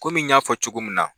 n y'a fɔ cogo min na